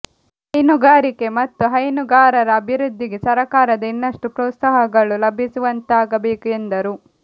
ಹೈನುಗಾರಿಕೆ ಮತ್ತು ಹೈನುಗಾರರ ಅಭಿವದ್ಧಿಗೆ ಸರಕಾರದ ಇನ್ನಷ್ಟು ಪ್ರೋತ್ಸಾಹಗಳು ಲಭಿಸು ವಂತಾಗಬೇಕು ಎಂದರು